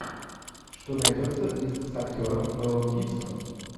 что найдется из с актером мэлом гибсоном